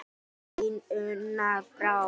Þín, Una Brá.